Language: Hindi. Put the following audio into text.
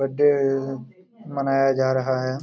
बर्थडे मनाया जा रहा हैं।